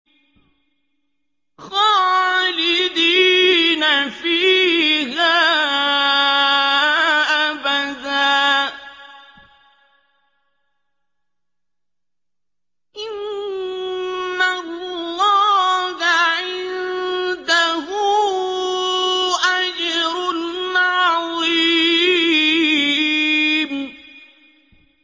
خَالِدِينَ فِيهَا أَبَدًا ۚ إِنَّ اللَّهَ عِندَهُ أَجْرٌ عَظِيمٌ